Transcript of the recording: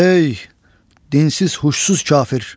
"Hey, dinsiz, huşsuz kafir!